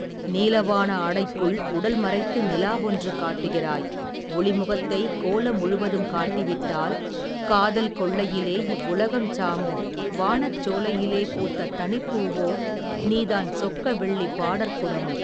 நீலவான ஆடைக்குள் உடல் மறைத்து நிலாவென்று காட்டுகிறாய், ஒளுமுகத்தைக், கோல முழுவதும் காட்டிவிட்டால், காதல் கொள்ளையிலே இவ்வுலகம் சாமோ வானச் சோலையிலே, பூத்த தனிப் பூவோ, நீதான் சொக்க வெள்ளிப் பாடற்குடமோ.